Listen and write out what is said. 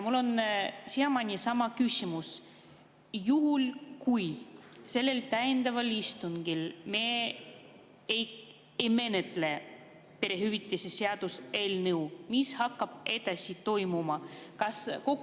Mul on siiamaani sama küsimus: juhul kui sellel täiendaval istungil me ei menetle perehüvitiste seaduse eelnõu, siis mis hakkab edasi toimuma?